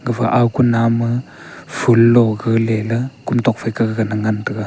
gapha ao kunam ma lo galeley kumtok phaika gana ngan taiga.